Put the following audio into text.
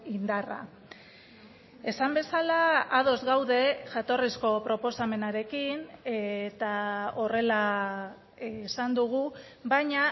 indarra esan bezala ados gaude jatorrizko proposamenarekin eta horrela esan dugu baina